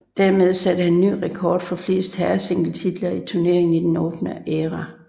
Dermed satte han ny rekord for flest herresingletitler i turneringen i den åbne æra